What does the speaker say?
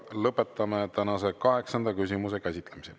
Lõpetame tänase kaheksanda küsimuse käsitlemise.